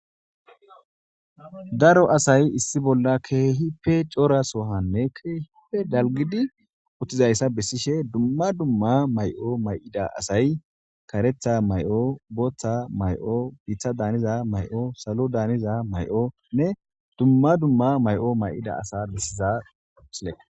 Daro asayi issi bolla Kehippe coora sohanne kehippe dalgidi dizayissa besishshe dumma dumma mayi'o ma'ida asay kareththa mayi'o boththa mayi'o miththada daniza mayi'o saloda daniza mayi'onne dumma dumma mayi'o ma'ida asa bessiza misilekko